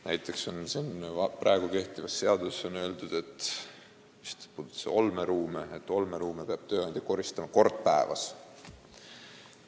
Näiteks on kehtivas seaduses öeldud, et olmeruume peab tööandja koristama kord päevas.